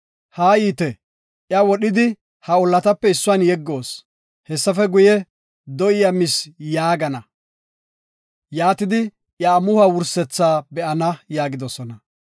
Haayite, iya wodhidi, ha ollatape issuwan yeggoos. Hessafe guye, ‘Do7i iya mis’ yaagana. Yaatidi, iya amuhuwa wursethaa be7ana” yaagidosona.